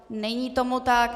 Není tomu tak.